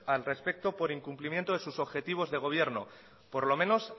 al respecto por el incumplimiento de sus objetivos de gobierno por lo menos